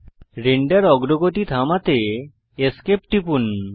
render অগ্রগতি থামাতে Esc টিপুন